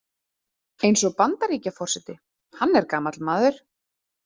Eins og Bandaríkjaforseti, hann er gamall maður.